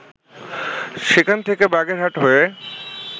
সেখান থেকে বাগেরহাট হয়ে